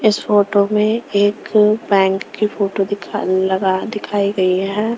इस फोटो में एक पैंग की फोटो दिखा लगा दिखाई गई है .